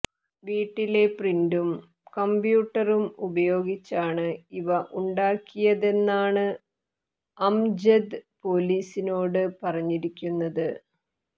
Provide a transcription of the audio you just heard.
വീട്ടിലെ പ്രിന്ററും കമ്പ്യൂട്ടറും ഉപയോഗിച്ചാണ് ഇവ ഉണ്ടാക്കിയതെന്നാണ് അംജദ് പൊലീസിനോട് പറഞ്ഞിരിക്കുന്നത്